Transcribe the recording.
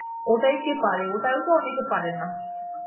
ওটাই কে পারে? ওটাও তো অনেকে পারেনা